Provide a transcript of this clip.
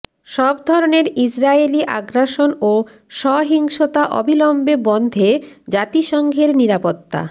সব ধরনের ইসরায়েলি আগ্রাসন ও সহিংসতা অবিলম্বে বন্ধে জাতিসংঘের নিরাপত্তা